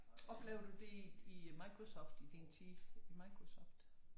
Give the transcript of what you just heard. Oplever du det i Microsoft i din tid i Microsoft?